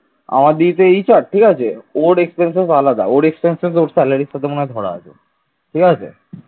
আমার দিদি তো HR ঠিক আছে ওর expenses আলাদা ঠিক আছে ওর expenses ওর salary সাথে মনে হয় ধরা আছে ঠিক আছে